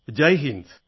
Jai Hind